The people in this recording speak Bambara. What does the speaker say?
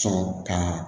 Sɔrɔ ka